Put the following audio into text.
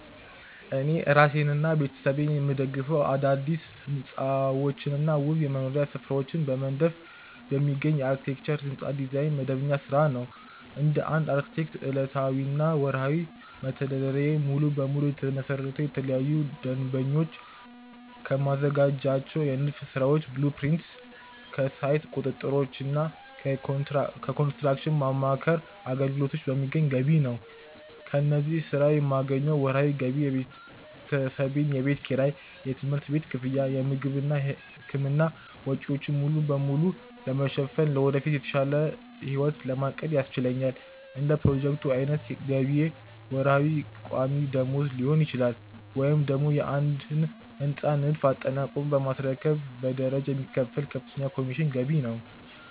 እኔ እራሴንና ቤተሰቤን የምደግፈው አዳዲስ ሕንፃዎችንና ውብ የመኖሪያ ስፍራዎችን በመንደፍ በሚገኝ የአርክቴክቸር (የሕንፃ ዲዛይን) መደበኛ ሥራ ነው። እንደ አንድ አርክቴክት፣ ዕለታዊና ወርሃዊ መተዳደሪያዬ ሙሉ በሙሉ የተመሰረተው ለተለያዩ ደንበኞች ከማዘጋጃቸው የንድፍ ሥራዎች (blueprints)፣ ከሳይት ቁጥጥሮችና ከኮንስትራክሽን ማማከር አገልግሎቶች በሚገኝ ገቢ ላይ ነው። ከዚህ ሥራ የማገኘው ወርሃዊ ገቢ የቤተሰቤን የቤት ኪራይ፣ የትምህርት ቤት ክፍያ፣ የምግብና የሕክምና ወጪዎችን ሙሉ በሙሉ ለመሸፈንና ለወደፊት የተሻለ ሕይወት ለማቀድ ያስችለኛል። እንደ ፕሮጀክቶቹ ዓይነት ገቢዬ ወርሃዊ ቋሚ ደመወዝ ሊሆን ይችላል፤ ወይም ደግሞ የአንድን ሕንፃ ንድፍ አጠናቆ በማስረከብ በደረጃ የሚከፈል ከፍተኛ የኮሚሽን ገቢ ነው።